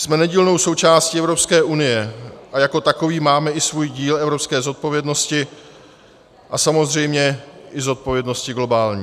Jsme nedílnou součástí Evropské unie a jako takoví máme i svůj díl evropské zodpovědnosti a samozřejmě i zodpovědnosti globální.